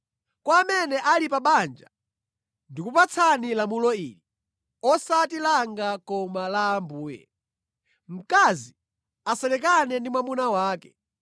Kwa amene ali pa banja ndikupatsani lamulo ili (osati langa koma la Ambuye): Mkazi asalekane ndi mwamuna wake.